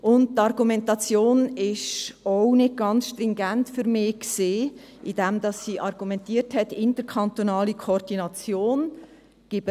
Die Argumentation war für mich auch nicht ganz stringent, indem sie mit der interkantonalen Organisation argumentiert hat.